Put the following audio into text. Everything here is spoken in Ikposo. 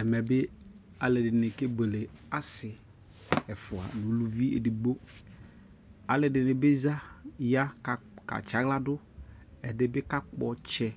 Ɛmɛ bi aluɛ dini kɛ bueleAsi ɛfua nu uluvi ɛdigboAluɛ dini bi za ya ka tsa ɣla duƐdi bi ka pkɔ tsɛ